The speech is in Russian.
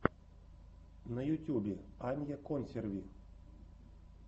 на ютюбе анья консерви